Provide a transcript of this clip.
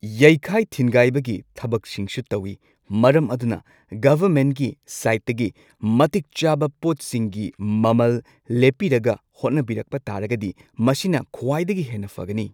ꯌꯩꯈꯥꯏ ꯊꯤꯟꯒꯥꯏꯕꯒꯤ ꯊꯕꯛꯁꯤꯡꯁꯨ ꯇꯧꯋꯤ ꯃꯔꯝ ꯑꯗꯨꯅ ꯒꯚꯔꯃꯦꯟꯠꯒꯤ ꯁꯥꯏꯠꯇꯒꯤ ꯃꯇꯤꯛ ꯆꯥꯕ ꯄꯣꯠꯁꯤꯡꯒꯤ ꯃꯃꯜ ꯂꯦꯞꯄꯤꯔꯒ ꯍꯣꯠꯅꯕꯤꯔꯛꯄ ꯇꯥꯔꯒꯗꯤ ꯃꯁꯤꯅ ꯈ꯭ꯋꯥꯏꯗꯒꯤ ꯍꯦꯟꯅ ꯐꯒꯅꯤ꯫